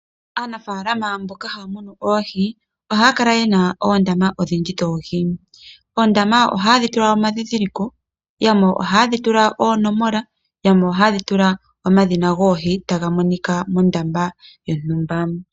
Aanafaalama mboka haya munu oohi, ohaya kala yena oondama odhindji dhoohi. Oondama ohaye dhi tula omandhindhiliko , yamwe ohaye dhi tula oonomola , yamwe ohaye dhi tula omadhina goohi taga monika mondama yontumba.